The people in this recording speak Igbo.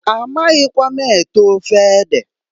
A maghikwa m ete ofe ede.